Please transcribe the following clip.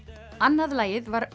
annað lagið var